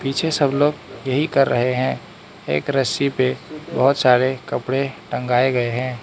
पीछे सब लोग यही कर रहे हैं एक रस्सी पे बहुत सारे कपड़े टंगाए गए हैं।